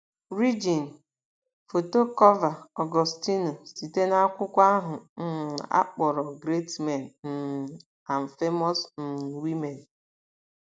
rigen: Foto Cọọva; Ọgọstinu: Site na akwụkwọ ahụ um a kpọrọ Great Men um and Famous um Women.